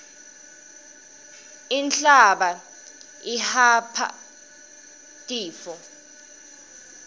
inhlaba ihapha tifo